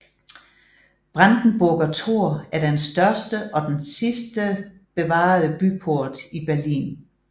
Brandenburger Tor er den største og den sidste bevarede byport i Berlin